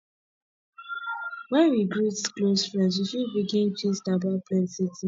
when we greet close friend we fit begin gist about plenty things